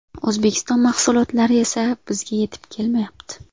O‘zbekiston mahsulotlari esa bizga yetib kelmayapti.